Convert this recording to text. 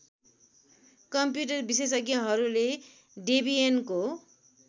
computer विशेषज्ञहरूले डेबियनको